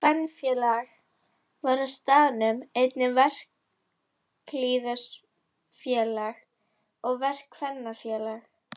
Kvenfélag var á staðnum, einnig verkalýðsfélag og verkakvennafélag.